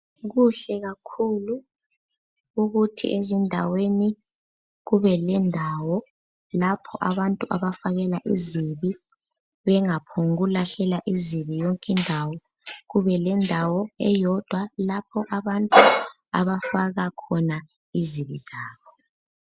Kuhle kakhulu ukuthi ezindaweni kube lendawo lapho abantu abafakela izibi, bengaphongu lahlela izibi yonke indawo kube lendawo eyodwa lapho abantu abafaka khona izibi zabo.